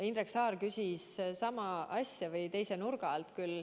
Indrek Saar küsis sama asja, küll teise nurga alt.